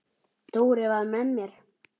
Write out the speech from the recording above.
Dóri var með mér.